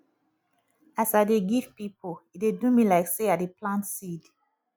as i dey give pipo e dey do me like sey i dey plant seed